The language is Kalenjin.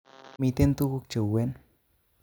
Miten tuguk cheuwen